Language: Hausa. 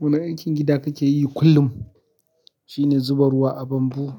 Wani aikin gida kake yi kullum shine zuba ruwa a bambu.